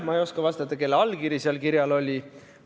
Ma ei oska vastata, kelle allkiri kirjal oli.